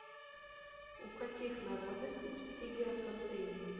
у каких народностей религия пантеизм